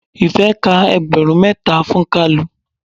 Ife ka ẹgbẹrun mẹ́ta fún kalu.